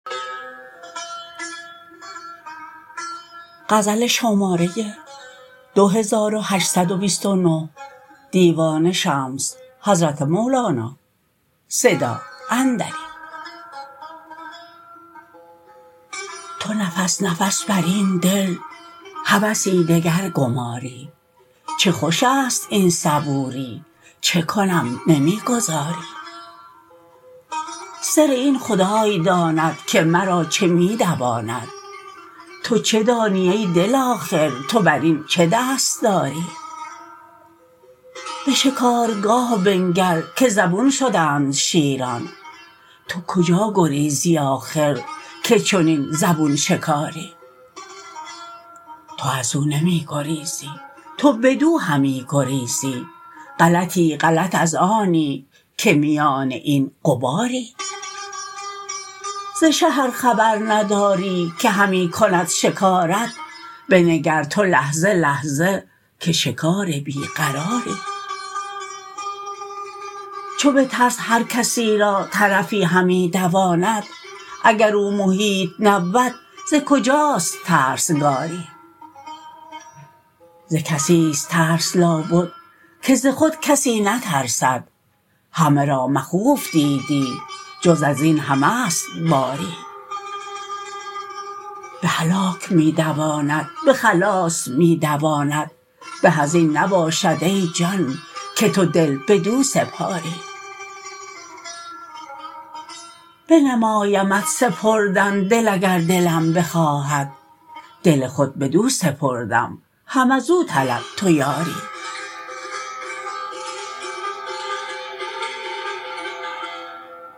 تو نفس نفس بر این دل هوسی دگر گماری چه خوش است این صبوری چه کنم نمی گذاری سر این خدای داند که مرا چه می دواند تو چه دانی ای دل آخر تو بر این چه دست داری به شکارگاه بنگر که زبون شدند شیران تو کجا گریزی آخر که چنین زبون شکاری تو از او نمی گریزی تو بدو همی گریزی غلطی غلط از آنی که میان این غباری ز شه ار خبر نداری که همی کند شکارت بنگر تو لحظه لحظه که شکار بی قراری چو به ترس هر کسی را طرفی همی دواند اگر او محیط نبود ز کجاست ترسگاری ز کسی است ترس لابد که ز خود کسی نترسد همه را مخوف دیدی جز از این همه ست باری به هلاک می دواند به خلاص می دواند به از این نباشد ای جان که تو دل بدو سپاری بنمایمت سپردن دل اگر دلم بخواهد دل خود بدو سپردم هم از او طلب تو یاری